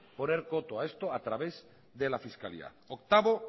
poner coto a esto a través de la fiscalidad octavo